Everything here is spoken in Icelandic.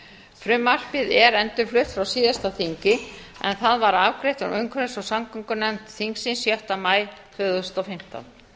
frumvarpið er endurflutt frá síðasta þingi en það var afgreitt frá umhverfis og samgöngunefnd þingsins sjötta maí tvö þúsund og fimmtán